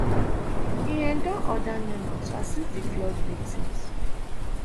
e um don order nema to assist di flood victims